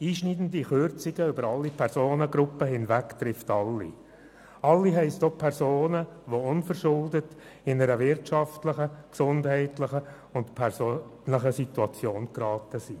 Einschneidende Kürzungen über alle Personengruppen hinweg treffen alle, das heisst auch Personen, die unverschuldet in eine wirtschaftlich, gesundheitlich oder persönlich schwierige Situation geraten sind.